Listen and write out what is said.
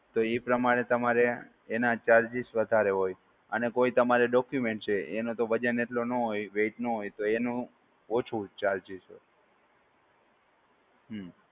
તો એ પ્રમાણે તમારે એના charges તમારે વધારે હોય અને કોઈ તમારે documents છે તો એનો તો વજન એટલો નો હોય weight નો હોય તો એનું ઓછો charges હોય.